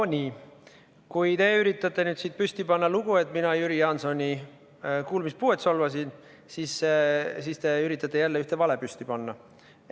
No nii, kui te üritate nüüd püsti panna lugu, et mina Jüri Jaansoni kuulmispuuet solvasin, siis te üritate jälle ühte vale püsti panna.